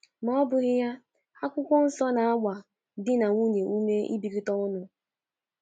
Ma ọ ọ bụghị ya, akwụkwọnsọ na - agba di na nwunye ume ịbikọta ọnụ.